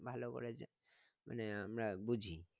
ভালো করেছে মানে আমরা বুঝি